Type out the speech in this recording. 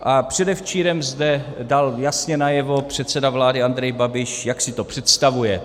A předevčírem zde dal jasně najevo předseda vlády Andrej Babiš, jak si to představuje.